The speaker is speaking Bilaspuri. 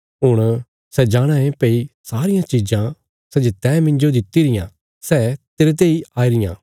हुण सै जाणाँ ये भई सारियां चिज़ां सै जे तैं मिन्जो दित्ति रियां सै तेरते इ आई रियां